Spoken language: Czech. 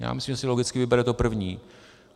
Já myslím, že si logicky vybere to první.